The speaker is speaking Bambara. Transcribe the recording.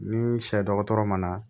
Ni sɛ dɔgɔtɔrɔ ma na